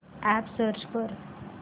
app search कर